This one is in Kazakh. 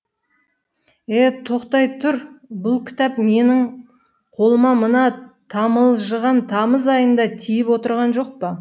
е е тоқтай тұр бұл кітап менің қолыма мына тамылжыған тамыз айында тиіп отырған жоқ па